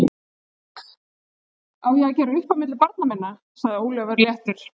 Á ég að gera upp á milli barnanna minna? sagði Ólafur léttur.